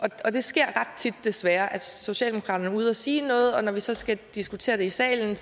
sker desværre at socialdemokraterne er ude at sige noget og når vi så skal diskutere det i salen